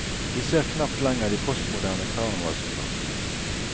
Vi ser knapt lenger de postmoderne karnevalsopptog.